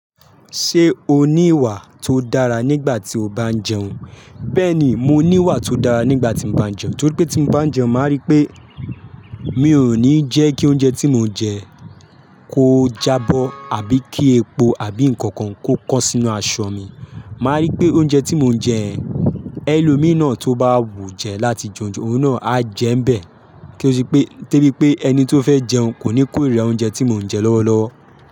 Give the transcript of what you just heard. Ṣé o ní ìwà tó dára nígbà tí o bá ń jẹun? Bẹ́ẹ̀ni, mo ní ìwà tó dára nígbà tí mo bá ń jẹun, torí pé tí mo bá ń jẹun, màá rí pé mi ò ní jẹ́ kí oúnjẹ tí mo ń jẹ kó jábọ̀, àbí kí epo àbí nǹkan kan kó kọ́ sínú aṣọ mi. Màá rí pé oúnjẹ tí mo ń jẹ, ẹlómi náà tó bá wù jẹ láti jẹun jẹun, òun náà á jẹ ń bẹ̀, kí ó sì pé-- tó ri pé ẹni tó fẹ́ jẹun kò ní kórìíra oúnjẹ tí mò ń jẹ lọ́wọ́lọ́wọ́.